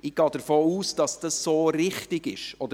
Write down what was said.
Ich gehe davon aus, dass dies so richtig ist.